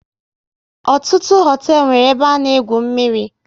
Ọtụtụ hoteelu nwéré ebe a na egwu mmiri